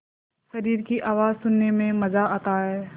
शरीर की आवाज़ सुनने में मज़ा आता है